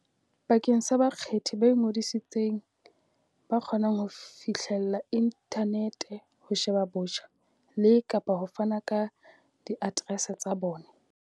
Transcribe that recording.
bakeng sa bakgethi ba ingodisitseng ba kgonang ho fihlella inthanete ho sheba botjha le kapa ho fana ka diaterese tsa bona.